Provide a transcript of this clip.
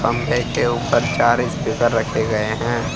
खंबे के ऊपर चार स्पीकर रखे गए हैं।